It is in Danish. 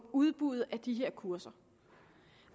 udbuddet af de her kurser